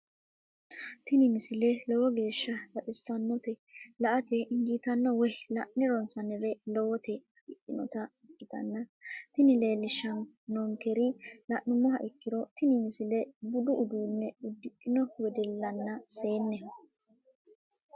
tini misile lowo geeshsha baxissannote la"ate injiitanno woy la'ne ronsannire lowote afidhinota ikkitanna tini leellishshannonkeri la'nummoha ikkiro tini misile budu uduunne uddidhino wedellanna seenneho.